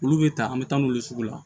Olu bɛ ta an bɛ taa n'u ye sugu la